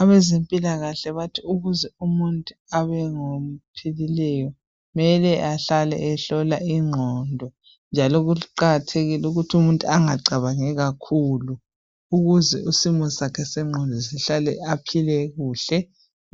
Abezempilakahle bathi ukuze umuntu abe ngophilileyo kumele ahlale ehlole ingqondo njalo kuqakathekile ukuthi umuntu angacabangi kakhulu. Ukuze isimo sakhe sengqondo sihlale aphile kuhle